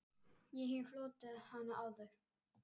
Ég hef hlotið hana áður.